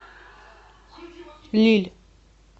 лилль